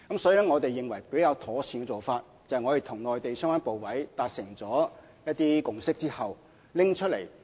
所以，我們認為較妥善的做法是我們與內地相關部委達成一些共識後才作出交代。